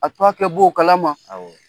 A to a kɛ bɔ o kala ma